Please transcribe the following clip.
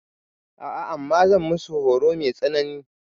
A'a, amma zan musu horo mai tsanani.